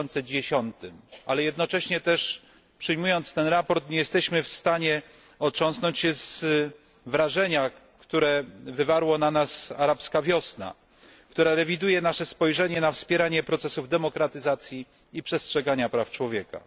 2010. Jednocześnie też, przyjmując to sprawozdanie, nie jesteśmy w stanie otrząsnąć się z wrażenia, jakie wywarła na nas Arabska Wiosna, która rewiduje nasze spojrzenie na wspieranie procesów demokratyzacji i przestrzegania praw człowieka.